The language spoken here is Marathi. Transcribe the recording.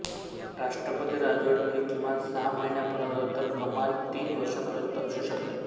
राष्ट्रपती राजवट ही किमान सहा महिन्या पर्यंत तर कमाल तीन वर्षा पर्यंत असु शकते